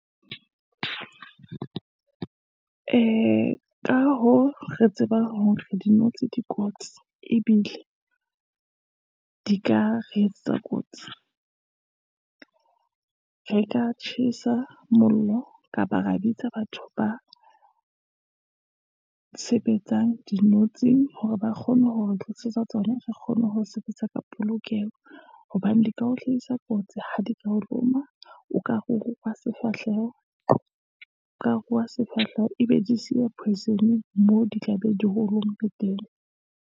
Ee, ka hoo, re tsebang hore di notshi di kotsi, ebile di ka re etsetsa kotsi, re ka tjhesa mollo, kapa ra bitsa batho ba sebetsang dinotshi hore ba kgone hore re tlisetsa tsona, re kgone ho sebetsa ka polokeho. Hobane di ka o hlahisa kotsi, ha di ka o loma, , ka ruruha sefahleho, ebe di siya poison-e moo di tla be di o lomme teng.